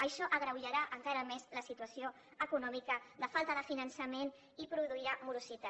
això agreujarà encara més la situació econòmica de falta de finançament i produirà morositat